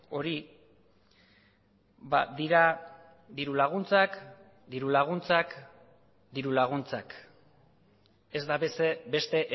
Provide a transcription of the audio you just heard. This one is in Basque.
hori dira dirulaguntzak dirulaguntzak dirulaguntzak ez da beste